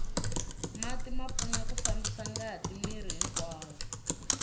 mati ma pfuna ku fambisa ngati miri hinkwawo